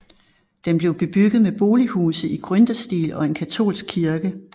Den blev bebygget med bolighuse i gründerstil og en katolsk kirke